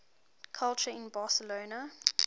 culture in barcelona